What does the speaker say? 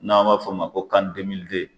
N'an b'a f'o ma ko kani demilide